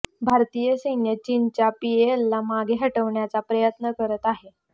भारतीय सैन्य चीनच्या पीएलएला मागे हटवण्याचा प्रयत्न करत आहे